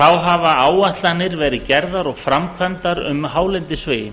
þar hafa áætlanir verið gerðar og framkvæmda um hálendisvegi